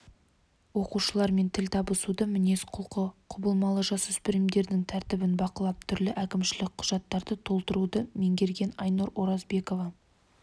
оқушылармен тіл табысуды мінез-құлқы құбылмалы жасөспірімдердің тәртібін бақылап түрлі әкімшілік құжаттарды толтыруды меңгерген айнұр оразбекова